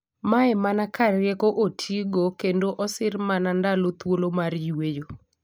Mae mana ka rieko otiigo kendo osir mana ndalo thuolo mar yweyo.